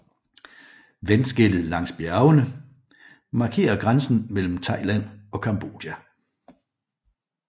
Vandskellet langs bjergene markerer grænsen mellem Thailand og Cambodja